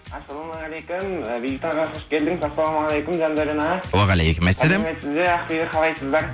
ассалаумағайкум і бейбіт аға қош келдіңіз ассалаумағалейкум жандәурен аға уағалекумассалям ақбибі қалайсыздар